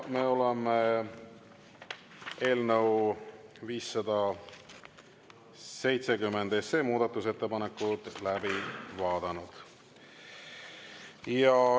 Me oleme eelnõu 570 muudatusettepanekud läbi vaadanud.